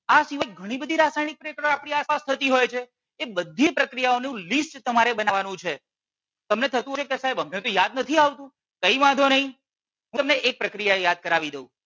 આ સિવાય ઘણી બધી રાસાયણિક પ્રક્રિયાઓ આપણી આસપાસ થતી હોય છે એ બધી પ્રક્રિયાઓ નું લિસ્ટ તમારે બનાવવાનું છે તમને થતું હશે કે સાહેબ અમને તો યાદ નથી આવતું કઈ વાંધો નહીં હું તમને એક પ્રક્રિયા યાદ કરવી દઉં.